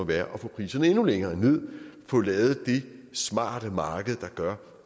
være at få priserne endnu længere ned få lavet det smarte marked der gør